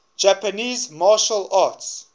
japanese martial arts